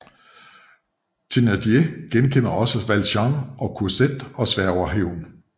Thénardier genkender også Valjean og Cosette og sværger hævn